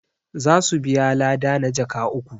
za su biya lada na jaka uku